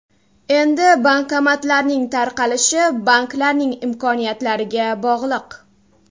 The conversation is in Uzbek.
Endi bankomatlarning tarqalishi banklarning imkoniyatlariga bog‘liq.